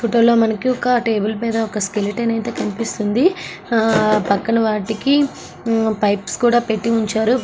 Photo లో మనకి ఒక టేబుల్ పైన ఒక స్కెలిటన్ అయితే కనిపిస్తుంది ఆహ్ పక్కన వట్టికి పైప్స్ అయితే పెట్టి ఉంచారు .